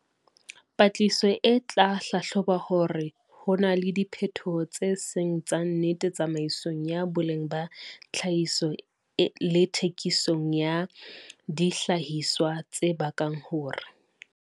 Patlisiso e tla hlahloba hore ho na le diphetoho tse seng tsa nnete tsamaisong ya boleng ba tlhahiso le thekiso ya dihlahiswa tse bakang hore